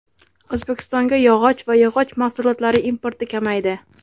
O‘zbekistonga yog‘och va yog‘och mahsulotlari importi kamaydi.